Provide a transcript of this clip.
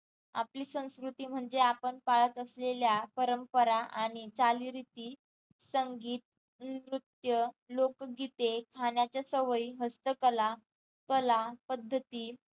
आपली संस्कृती म्हणजे आपण पाळत असलेल्या परंपरा आणि चालीरीती संगीत, नृत्य, लोकगीते, खाण्याच्या सवयी, हस्तकला कला पद्धती